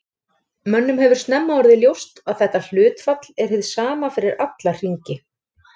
Mönnum hefur snemma orðið ljóst að þetta hlutfall er hið sama fyrir alla hringi.